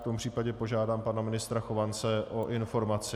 V tom případě požádám pana ministra Chovance o informaci.